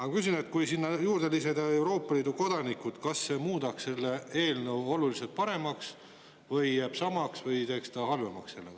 Aga küsin: kui sinna juurde lisada Euroopa Liidu kodanikud, kas see muudaks selle eelnõu oluliselt paremaks või jääb see samaks või teeks see halvemaks?